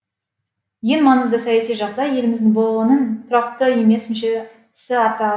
ең маңызды саяси жағдай еліміздің бұұ ның тұрақты емес мүшесі атануы